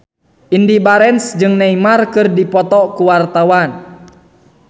Indy Barens jeung Neymar keur dipoto ku wartawan